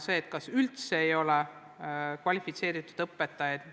Tavaliselt pole olnud kvalifitseeritud õpetajaid.